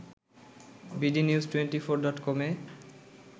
bdnews twenty four ডটকমে